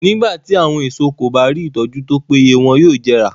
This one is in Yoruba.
Nígbà tí àwọn èso kí bá rí ìtọ́jú tó péye wọn yóò jẹrà.